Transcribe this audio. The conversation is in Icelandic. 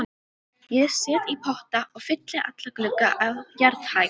Ég set í potta og fylli alla glugga á jarðhæð.